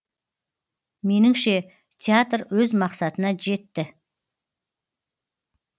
меніңше театр өз мақсатына жетті